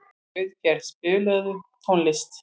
Auðgeir, spilaðu tónlist.